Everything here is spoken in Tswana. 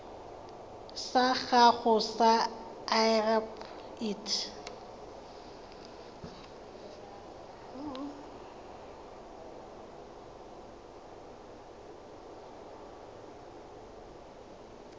sa gago sa irp it